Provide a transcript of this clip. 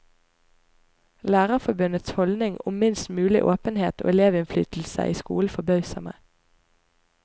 Lærerforbundets holdning om minst mulig åpenhet og elevinnflydelse i skolen forbauser meg.